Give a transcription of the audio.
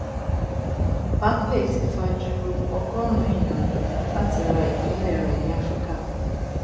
barclays ti fa ju ọgọrùnún èèyàn lọ láti ra ìpínlẹ rẹ ní áfíríkà